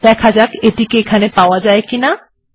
দেখা যাক আমি এখানে ওটি পাই কিনা